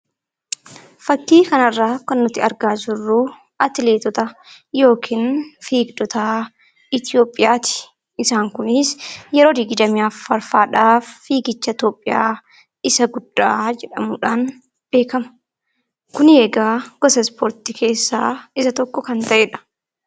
Fakkii kanarraa kan nuti argaa jirru atileetota yookiin fiigdota Itoophiyaati. Kunis yeroo 24ffaadhaaf fiigicha ta'udha. Isa guddaa jedhamuudhaan beekama. Kun egaa gosa ispoortii keessaa isa tokkodha.